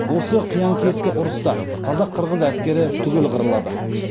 осы қиян кескі ұрыста қазақ қырғыз әскері түгел қырылады